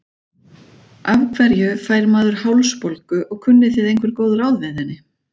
Af hverju fær maður hálsbólgu og kunnið þið einhver góð ráð við henni?